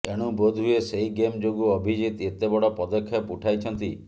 ଏଣୁ ବୋଧହୁଏ ସେହି ଗେମ ଯୋଗୁଁ ଅଭିଜିତ ଏତେ ବଡ଼ ପଦକ୍ଷେପ ଉଠାଇଛନ୍ତି